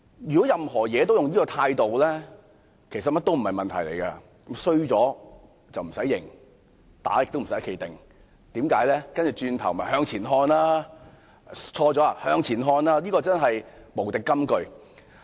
如果凡事都採取這種態度，其實甚麼也不成問題，"衰咗唔駛認，打亦唔駛企定"，因為只須向前看，即使出錯也向前看，這真是無敵金句。